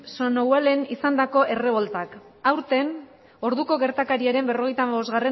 somnolen izandako erreboltak aurten orduko gertakariaren berrogeita hamabostgarrena